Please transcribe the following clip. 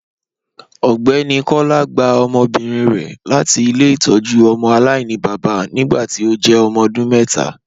Ọgbẹni Kọla gbà ọmọbírin rẹ láti ilẹ̀-itọ́jú ọmọ alainibaba nígbàtí ó jẹ́ ọmọ ọdún mẹta.